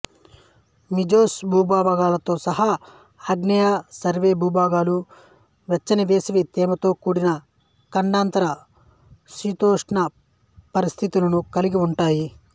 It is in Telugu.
మిజోస్ భాగాలతో సహా ఆగ్నేయ నార్వే భాగాలు వెచ్చనివేసవి తేమతో కూడిన ఖండాంతర శీతోష్ణస్థితులను కలిగి ఉంటాయి